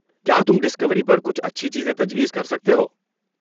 کیا تم ڈسکوری پر کچھ اچھی چیزیں تجویز کر سکتے ہو؟